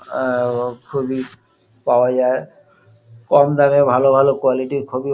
এ- খুবই পাওয়া যায় কম দামে ভালো ভালো কুয়ালিটি খুবই।